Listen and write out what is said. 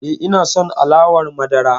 E, ina son alawar madara.